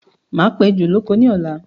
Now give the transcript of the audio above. Máa pa ejò lóko ní ọ̀la